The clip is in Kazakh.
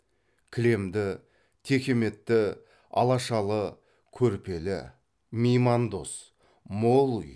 кілемді текеметті алашалы көрпелі меймандос мол үй